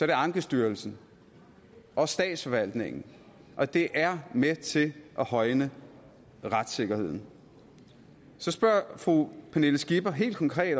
i ankestyrelsen og statsforvaltningen og det er med til at højne retssikkerheden så spørger fru pernille skipper helt konkret